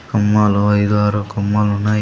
కొమ్మలో ఇది వరకూ కొమ్ములు ఉన్నాయి.